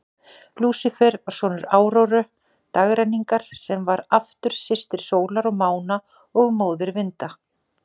Lúsífer var sonur Áróru, dagrenningarinnar, sem var aftur systir sólar og mána og móðir vinda.